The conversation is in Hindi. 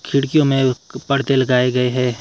खिड़कियों में एक पर्दे लगाए गए है।